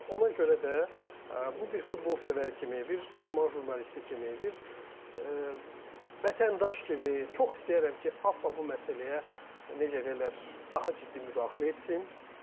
Ona görə də bu bir futbolsevər kimi, bir idman jurnalisti kimi, bir vətəndaş kimi çox istəyərəm ki, AFFA bu məsələyə necə deyərlər, daha ciddi müdaxilə etsin.